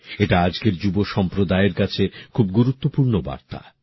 এটা আজকের যুব সম্প্রদায়ের কাছে খুব গুরুত্বপূর্ণ বার্তা